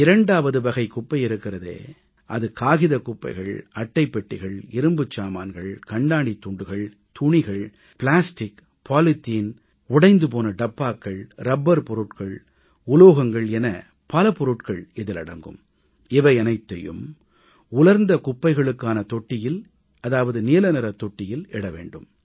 இரண்டாவது வகை குப்பை இருக்கிறதே அது காகிதக் குப்பைகள் அட்டைப் பெட்டிகள் இரும்புச் சாமான்கள் கண்ணாடித் துண்டுகள் துணிகள் பிளாஸ்டிக் பாலித்தீன் உடைந்து போன டப்பாக்கள் ரப்பர் பொருட்கள் உலோகங்கள் என பல பொருட்கள் இதில் அடங்கும் இவையனைத்தையும் உலர்ந்த குப்பைகளுக்கான தொட்டியில் இட வேண்டும்